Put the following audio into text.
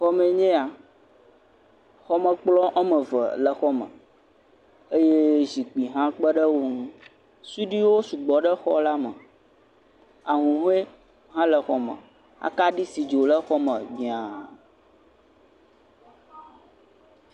Xɔme enye ya. Xɔme kplɔ̃ woame eve le xɔa me eye zikpui hã kpe ɖe wo ŋu. suɖuiwo sugbɔ ɖe xɔ la me. Ahuhɔ̃e hã le xɔ me. Akaɖi si dzo ɖe xɔ me mia.